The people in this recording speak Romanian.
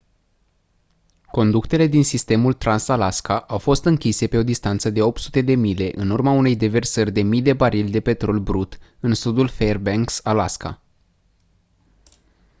conductele din sistemul trans-alaska au fost închise pe o distanță de 800 de mile în urma unei deversări de mii de barili de petrol brut în sudul fairbanks alaska